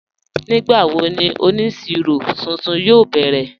Nígbàwó ní onísíró tuntun yóò bẹrẹ̀?